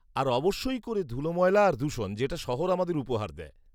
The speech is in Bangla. -আর অবশ্যই করে ধুলোময়লা আর দূষণ যেটা শহর আমাদের উপহার দেয়।